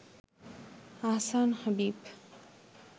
Ahsan Habib